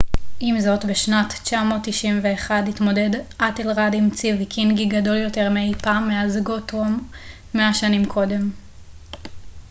עם זאת בשנת 991 התמודד אתלרד עם צי ויקינגי גדול יותר מאי פעם מאז גות'רום מאה שנים קודם